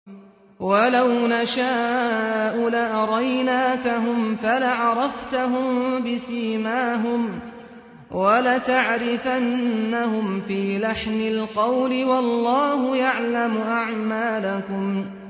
وَلَوْ نَشَاءُ لَأَرَيْنَاكَهُمْ فَلَعَرَفْتَهُم بِسِيمَاهُمْ ۚ وَلَتَعْرِفَنَّهُمْ فِي لَحْنِ الْقَوْلِ ۚ وَاللَّهُ يَعْلَمُ أَعْمَالَكُمْ